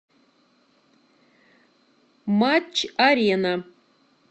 матч арена